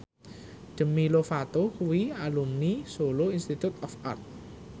Demi Lovato kuwi alumni Solo Institute of Art